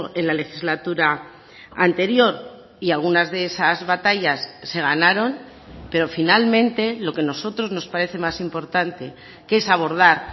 en la legislatura anterior y algunas de esas batallas se ganaron pero finalmente lo que nosotros nos parece más importante que es abordar